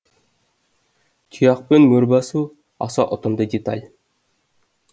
тұяқпен мөр басу аса ұтымды деталь